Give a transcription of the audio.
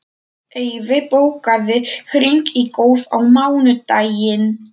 Eyfi, bókaðu hring í golf á mánudaginn.